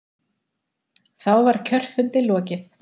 Þá var kjörfundi lokið.